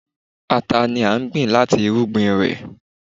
Ata ni a ń gbìn láti irúgbìn rẹ̀.